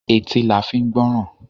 Etí la fi ń gbọ́ràn.